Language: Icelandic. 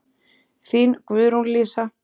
Þín, Guðrún Lísa.